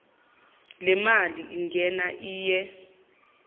lemali ingena iye